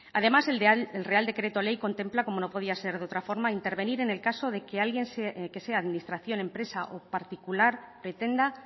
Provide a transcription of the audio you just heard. además el real decreto ley contempla como no podía ser de otra manera intervenir en el caso de que alguien que sea administración empresa o particular pretenda